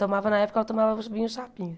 Tomava, na época, ela tomava vinho chapinha.